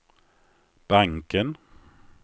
banken